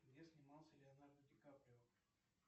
где снимался леонардо дикаприо